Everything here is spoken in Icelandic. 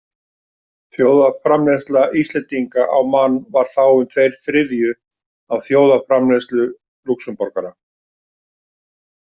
Þjóðarframleiðsla Íslendinga á mann var þá um tveir þriðju af þjóðarframleiðslu Lúxemborgara.